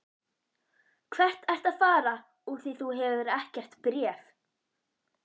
Hvert ertu að fara úr því þú hefur ekkert bréf?